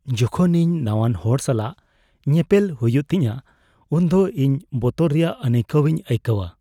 ᱡᱚᱠᱷᱚᱱ ᱤᱧ ᱱᱟᱣᱟᱱ ᱦᱚᱲ ᱥᱟᱞᱟᱜ ᱧᱮᱯᱮᱞ ᱦᱩᱭᱩᱜ ᱛᱤᱧᱟᱹ ᱩᱱᱫᱚ ᱤᱧ ᱵᱚᱛᱚᱨ ᱨᱮᱭᱟᱜ ᱟᱹᱱᱟᱹᱭᱠᱟᱹᱣ ᱤᱧ ᱟᱹᱭᱠᱟᱹᱣᱟ ᱾